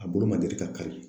A bolo ma deli ka kari.